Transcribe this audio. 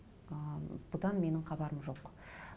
ы бұдан менің хабарым жоқ